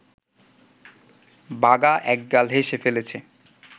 বাঘা একগাল হেসে ফেলেছে